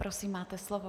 Prosím, máte slovo.